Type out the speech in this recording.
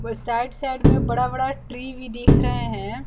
और side side में बड़ा बड़ा ट्री भी दिख रहे हैं।